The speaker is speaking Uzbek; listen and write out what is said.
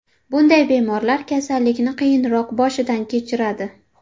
Bunday bemorlar kasallikni qiyinroq boshidan kechiradi.